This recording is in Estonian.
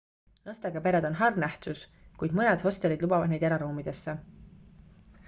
lastega pered on harv nähtus kuid mõned hostelid lubavad neid eraruumidesse